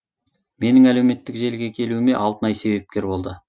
менің әлеуметтік желіге келуіме алтынай себепкер болды